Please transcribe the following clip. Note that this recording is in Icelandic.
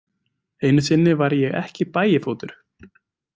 Einu sinni var ég ekki Bægifótur.